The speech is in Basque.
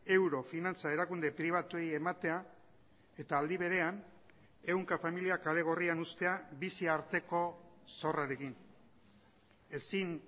euro finantza erakunde pribatuei ematea eta aldi berean ehunka familiak kale gorrian uztea bizi arteko zorrarekin ezin